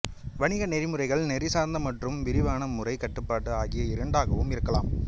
வணிக நெறிமுறைகள் நெறி சார்ந்த மற்றும் விரிவான முறை கட்டுப்பாடு ஆகிய இரண்டாகவும் இருக்கலாம்